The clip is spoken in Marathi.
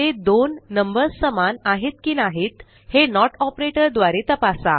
ते दोन नंबर्स समान आहेत की नाहीत हे नोट ऑपरेटर द्वारे तपासा